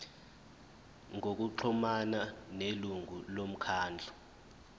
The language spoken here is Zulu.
ngokuxhumana nelungu lomkhandlu